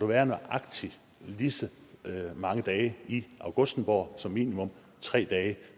være nøjagtig lige så mange dage i augustenborg som minimum tre dage